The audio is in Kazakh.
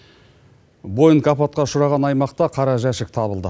боинг апатқа ұшыраған аймақта қара жәшік табылды